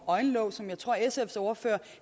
øjenlåg som jeg tror at sfs ordfører